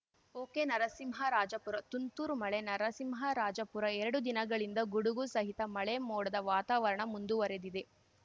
ಒಕೆನರಸಿಂಹರಾಜಪುರ ತುಂತುರು ಮಳೆ ನರಸಿಂಹರಾಜಪುರ ಎರಡು ದಿನಗಳಿಂದ ಗುಡುಗು ಸಹಿತ ಮಳೆ ಮೋಡದ ವಾತಾವರಣ ಮುಂದುವರೆದಿದೆ